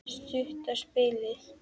Stutta spilið.